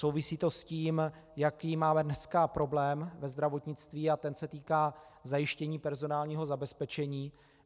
Souvisí to s tím, jaký máme dneska problém ve zdravotnictví, a ten se týká zajištění personálního zabezpečení.